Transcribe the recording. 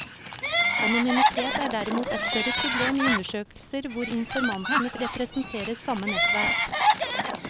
Anonymitet er derimot et større problem i undersøkelser hvor informantene representerer samme nettverk.